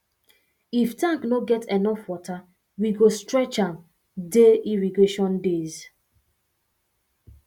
if tank no get enough water we go stretch um dey irrigation days